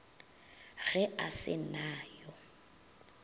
ge a se na yo